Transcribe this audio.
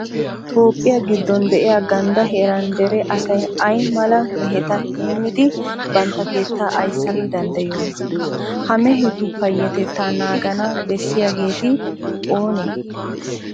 Toophphiya giddon de'iya ganddaa heeraa dere asay ay mala meheta heemmidi bantta keettaa ayssana danddayiyoonaa? Ha mehetu payyatettaa naagana bessiyageeti oonee?